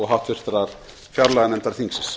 háttvirtrar fjárlaganefndar þingsins